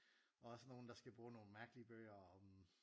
Også nogen der skal bruge nogle mærkelige bøger om